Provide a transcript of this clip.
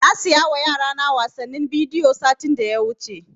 Na saya wa yara na wasannin bidiyo satin da ya wuce